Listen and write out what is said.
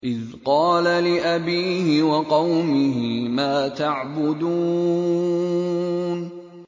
إِذْ قَالَ لِأَبِيهِ وَقَوْمِهِ مَا تَعْبُدُونَ